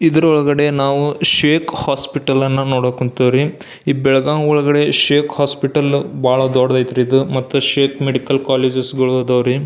ಇದರ ಒಳಗಡೆ ನಾವು ಶೇಕ್ ಹಾಸ್ಪಿಟಲ್ ಅನ್ನ ನೋಡಕ್ ಹೊಂಟೇವಿ ರೀ ಈ ಬೆಳಗಾಂ ಒಳಗಡೆ ಶೇಕ್ ಹಾಸ್ಪಿಟಲ್ ಬಹಳ ದೊಡ್ಡದಐತ್ರಿ ಇದು ಮತ್ತು ಶೇಕ್ ಮೆಡಿಕಲ್ ಕಾಲೇಜ್ಸ್ ಗಳು ಅದಾವರೀ.